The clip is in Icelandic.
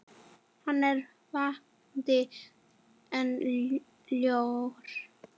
Hann er vakandi en sljór.